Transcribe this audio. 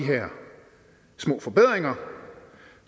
små forbedringer